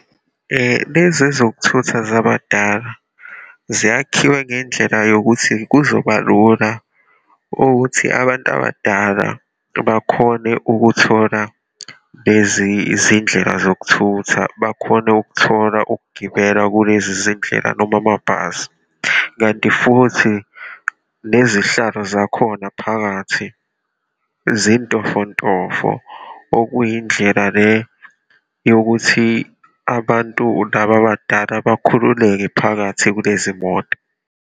Lezi ezokuthutha zabadala, zayakhiwe ngendlela yokuthi kuzobalula ukuthi abantu abadala bakhone ukuthola lezi izindlela zokuthutha, bakhone ukuthola ukugibela kulezi zindlela, noma amabhasi, kanti futhi nezihlalo zakhona phakathi zintofontofo, okuyindlela le yokuthi abantu laba abadala bakhululeke phakathi kulezi moto.